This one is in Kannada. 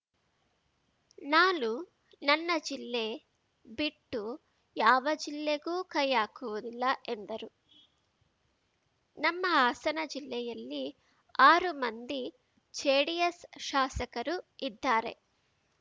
ನಾನು ನನ್ನ ಜಿಲ್ಲೆ ಬಿಟ್ಟು ಯಾವ ಜಿಲ್ಲೆಗೂ ಕೈಹಾಕುವುದಿಲ್ಲ ಎಂದರು ನಮ್ಮ ಹಾಸನ ಜಿಲ್ಲೆಯಲ್ಲಿ ಆರು ಮಂದಿ ಜೆಡಿಎಸ್‌ ಶಾಸಕರು ಇದ್ದಾರೆ